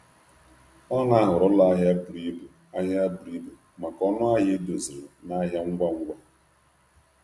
Ọ na-ahọrọ ụlọ ahịa buru ibu maka ọnụ ahịa edoziri na ahịa ngwa ngwa.